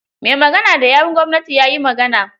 Mai magana da yawon gwamnatin ya yi magana.